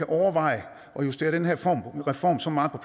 overveje at justere den her reform så meget